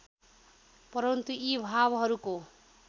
परन्तु यी भावहरूको